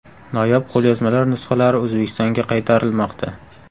Noyob qo‘lyozmalar nusxalari O‘zbekistonga qaytarilmoqda.